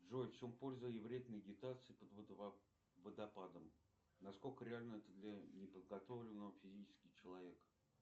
джой в чем польза и вред медитации под водопадом на сколько реально это для неподготовленного физически человека